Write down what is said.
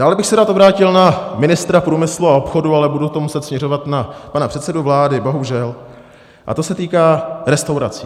Dále bych se rád obrátil na ministra průmyslu a obchodu, ale budu to muset směřovat na pana předsedu vlády, bohužel, a to se týká restaurací.